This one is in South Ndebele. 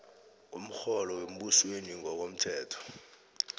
komrholo wembusweni ngokomthetho